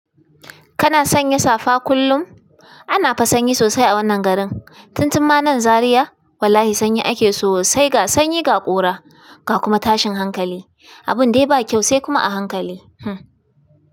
Kana sanya safa kullum? Ana fa sanyi sosai a wannan garin. Tun tun ma nan Zariya wallahi sanyi ake so sai ga sanyi ga ƙura ga kuma tashin hankali. Abun dai ba kyau sai kuma a hankali. Hm.